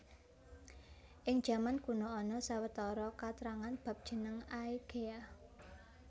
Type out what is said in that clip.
Ing jaman kuna ana sawetara katrangan bab jeneng Aegea